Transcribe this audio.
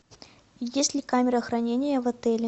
есть ли камера хранения в отеле